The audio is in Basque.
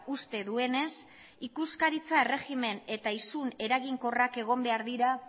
uste duenez ikuskaritza erregimen eta isun eraginkorrak egon behar dira